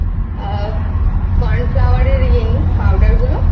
আহ Cornflower এর ইয়ে নিয়ে পাউডার গুলো নেই